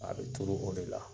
A bɛ turu o de la.